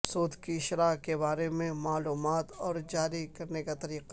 سود کی شرح کے بارے میں معلومات اور جاری کرنے کا طریقہ